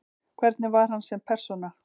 Hvernig var hann sem persóna?